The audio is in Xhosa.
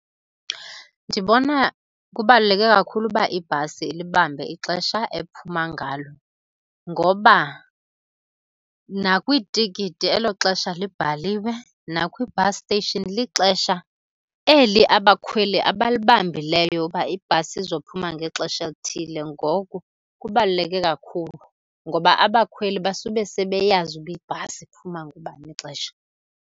Ndibona kubaluleke kakhulu uba ibhasi ilibambe ixesha ephuma ngalo ngoba nakwiitikiti elo xesha libhaliwe, nakwi-bus station lixesha eli abakhweli abalibambileyo uba ibhasi izophuma ngexesha elithile. Ngoku kubaluleke kakhulu, ngoba abakhweli basube sebeyazi uba ibhasi iphuma ngabani ixesha.